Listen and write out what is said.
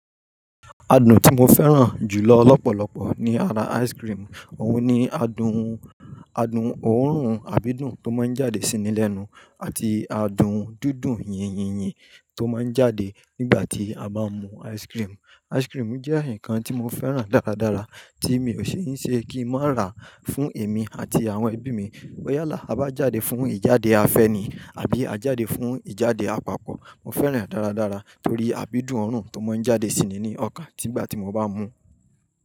Adùn tí mo fẹ́ràn jù lọ lọ́pọ̀lọpọ̀ ní ara ice cream. Òun ni adùn, adùn òórùn, àbí adùn tó máa ń jáde sí ni lẹ́nu àti adùn dídùn yínyín-yín tó máa ń jáde nígbà tí a bá mú ice cream. Ice cream jẹ́ nǹkan tí mo fẹ́ràn dáradára tí mi ò ṣi kín se kin má ra fún èmi àti àwọn ẹbí mi. Yálá, tia bá jáde fún ìjáde afẹ́ni àbí a jáde fún ìjáde àpapọ̀. Mo fẹ́ràn e dáradára torí àbí dùn òórùn tó máa ń jáde sí i ní ọkàn nígbà tí mo bá mú.